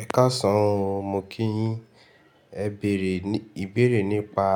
Ẹ káàsán o mo kíyin, ẹ bere, ìbéèrè nípa